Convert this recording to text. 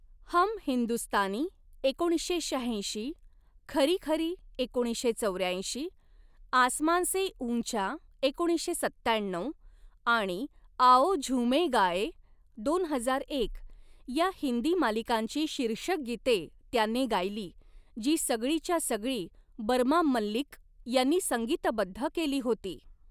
हम हिंदुस्तानी' एकोणीसशे शहाऐंशी, 'खरी खरी' एकोणीसशे चौऱ्याऐंशी, 'आसमान से ऊंचा' एकोणीसशे सत्त्याण्णऊ आणि 'आओ झूमें गाएं' दोन हजार एक या हिंदी मालिकांची शीर्षक गीते त्याने गायली, जी सगळीच्या सगळी बर्मा मल्लिक यांनी संगीतबद्ध केली होती.